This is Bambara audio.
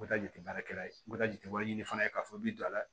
N bɛ taa jate baarakɛla ye n bɛ taa jate wɛrɛ ɲini fana k'a fɔ i bɛ don a la